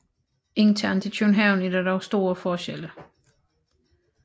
Internt i København er der dog store forskelle